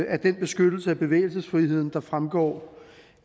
af den beskyttelse af bevægelsesfriheden der fremgår